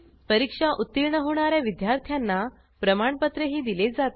परीक्षा उत्तीर्ण होणा या विद्यार्थ्यांना प्रमाणपत्रही दिले जाते